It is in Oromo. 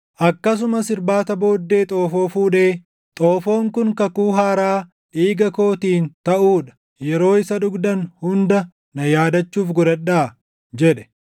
Akkasumas irbaata booddee xoofoo fuudhee, “Xoofoon kun kakuu haaraa dhiiga kootiin taʼuu dha; yeroo isa dhugdan hunda na yaadachuuf godhadhaa” jedhe.